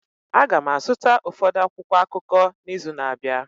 Aga m azụta ụfọdụ akwụkwọ akụkọ n'izu na-abịa